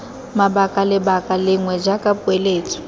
mabaka lebaka lengwe jaaka poeletso